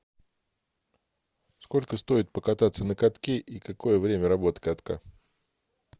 сколько стоит покататься на катке и какое время работы катка